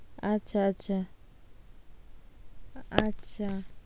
আচ্ছা আচ্ছা, আচ্ছা।